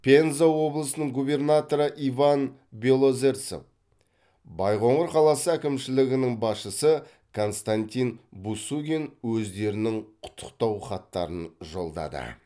пенза облысының губернаторы иван белозерцев байқоңыр қаласы әкімшілігінің басшысы константин бусугин өздерінің құттықтау хаттарын жолдады